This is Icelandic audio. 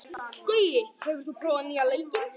Gaui, hefur þú prófað nýja leikinn?